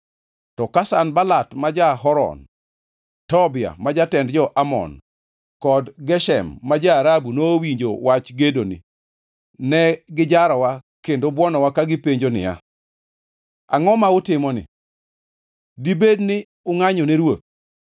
To ka Sanbalat ma ja-Horon, Tobia ma jatend jo-Amon kod Geshem ma ja-Arabu nowinjo wach gedoni, ne gijarowa kendo buonowa ka gipenjo niya, “Angʼo ma utimoni? Dibed ni ungʼanyo ne ruoth?”